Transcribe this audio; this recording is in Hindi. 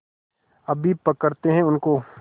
अभी पकड़ते हैं उनको